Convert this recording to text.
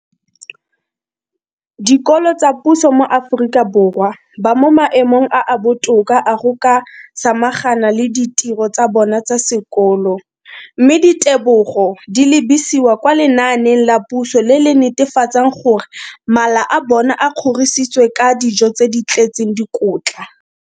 Dikolo tsa puso mo Aforika Borwa ba mo maemong a a botoka a go ka samagana le ditiro tsa bona tsa sekolo, mme ditebogo di lebisiwa kwa lenaaneng la puso le le netefatsang gore mala a bona a kgorisitswe ka dijo tse di tletseng dikotla.